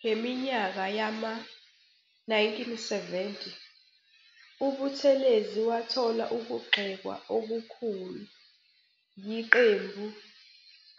Ngeminyaka yama-1970 uButhulezi wathola ukugxekwa okukhulu yiqembu